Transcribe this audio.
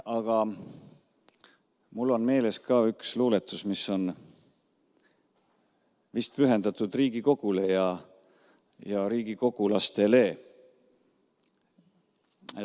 Aga mul on meeles ka üks luuletus, mis on vist pühendatud Riigikogule ja riigikogulastele.